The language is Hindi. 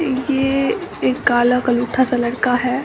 ये एक काला कलूठा सा लड़का है।